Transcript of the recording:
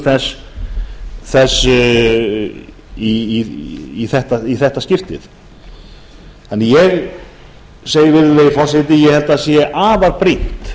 samningu þess í þetta skiptið ég segi því virðulegi forseti að ég held að það sé afar brýnt